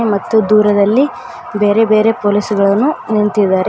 ಮತ್ತೆ ದೂರದಲ್ಲಿ ಬೇರೆ ಬೇರೆ ಪೊಲೀಸ್ ಗಳನು ನಿಂತಿದ್ದಾರೆ.